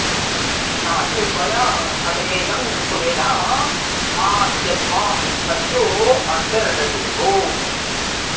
ता जिह्वया सदमेदं सुमेधा आ यद्वां सत्यो अरतिरृते भूत्